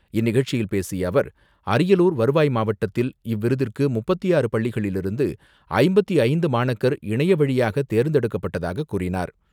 இந்நிகழ்ச்சியில் பேசிய அவர், அரியலூர் வருவாய் மாவட்டத்தில் இவ்விருதிற்கு முப்பத்து ஆறு பள்ளிகளிலிருந்து ஐம்பத்து ஐந்து மாணக்கர் இணையவழியாக தேர்ந்தெடுக்கப்பட்டதாக கூறினார்.